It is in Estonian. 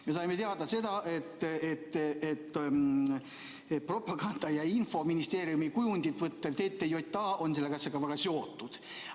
Me saime teada seda, et propaganda- ja infoministeeriumi kuju võttev TTJA on selle asjaga väga seotud.